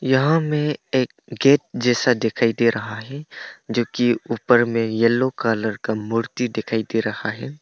यहां में एक गेट जैसा दिखाई दे रहा हैं जो कि ऊपर में येलो कलर का मूर्ति दिखाई दे रहा है।